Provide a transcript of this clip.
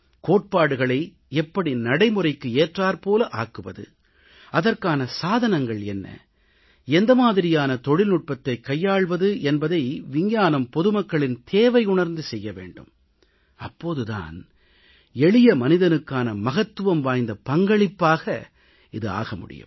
கோட்பாடுகளை எப்படி நடைமுறைக்கு ஏற்றாற்போல ஆக்குவது அதற்கான சாதனங்கள் என்ன எந்த மாதிரியான தொழில்நுட்பத்தைக் கையாள்வது என்பதை விஞ்ஞானம் பொதுமக்களின் தேவையுணர்ந்து செய்ய வேண்டும் அப்போது தான் எளிய மனிதனுக்கான மகத்துவம் வாய்ந்த பங்களிப்பாக இது ஆக முடியும்